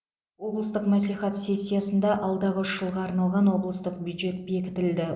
облыстық мәслихат сессиясында алдағы үш жылға арналған облыстық бюджет бекітілді